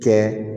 Kɛ